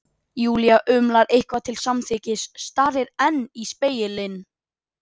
Júlía umlar eitthvað til samþykkis, starir enn í spegilinn.